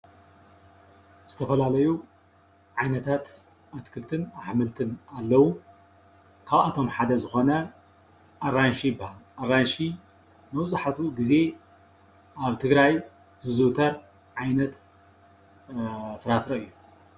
ዝተፈላለዩ ዓይነታት ኣትክልትን ኣሕምልትን ኣለዉ፡፡ ካብኣቶም ሓደ ዝኾነ ኣራንሺ ይበሃል፡፡ ኣራንሺ መብዛሕትኡ ግዜ ኣብ ትግራይ ዝዝውተር ዓይነት ፍራፍረ እዩ፡፡